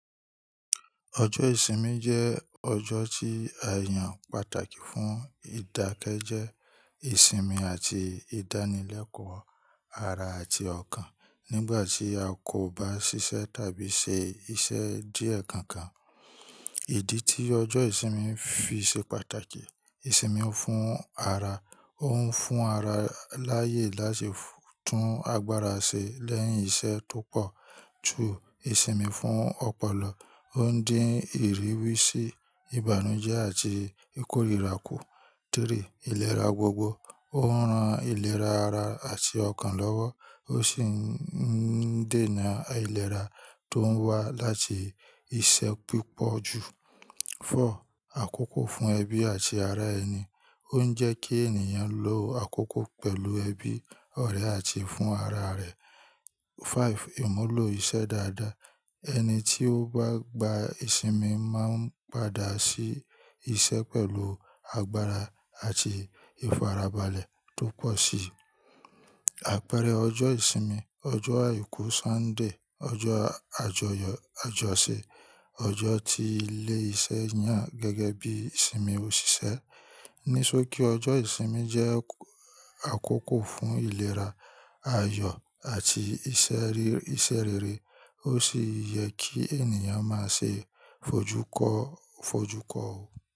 Ọjọ́ ìsinmi jẹ́ ọjọ́ tí àyàn pàtàkì fún ìdákẹ́jẹ, ìsinmi àti ìdánilẹ́kọ̀ọ́ ara àti ọkàn nígbà tí a kò bá ṣiṣẹ́ tàbí ṣe iṣẹ́ díẹ̀ kan kan. Ìdí tí ọjọ́ ìsinmi fi ṣe pàtàkì, ìsinmi fún ara, ó ń fún ara láyè láti tún agbára ṣe lẹ́yìn iṣẹ́ tó pọ̀. Two, ìsinmi fún ọpọlọ, ó ń dín ìrírí sí ìbànújẹ́ àti ìkórìíra kù. Three, ìlera gbogbo, ó ń ran ìlera ara àti ọkàn lọ́wọ́, ó sì ń dènà ìlera tó ń wá láti iṣẹ́ pípọ̀jù. Four, àkókò fún ẹbí àti ará ẹni, ó ń jẹ́ kí ènìyàn lo àkókò pẹ̀lú ẹbí, ọ̀rẹ́ àti fún ara rẹ̀. Five, ìmúlò iṣẹ́ dáadáa, ẹni tí ó bá gba ìsinmi máa ń padà sí iṣẹ́ pẹ̀lú agbára àti ìfarabalẹ̀ tó pọ̀ sí i. Àpẹẹrẹ ọjọ́ ìsinmi, ọjọ́ àìkú Sunday, ọjọ́ àjọyọ̀ Àjọṣe, ọjọ́ tí ilé iṣẹ́ yàn gẹ́gẹ́ bí ìsinmi òṣìṣẹ́. Ní sókí ọjọ́ ìsinmi jẹ́ àkókò fún ìlera, ayọ̀ àti iṣẹ́ rere, ó sì yẹ kí ènìyàn máa ṣe fojú kó o fojú kó o.